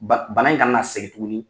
Ba bana in kana na segin tuguni.